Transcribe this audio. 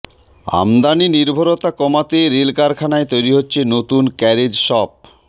আমদানি নির্ভরতা কমাতে রেল কারখানায় তৈরি হচ্ছে নতুন ক্যারেজ শপ